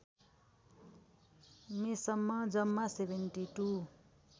मेसम्म जम्मा ७२